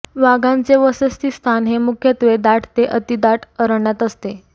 वाघांचे वसतिस्थान हे मुख्यत्वे दाट ते अतिदाट अरण्यात असते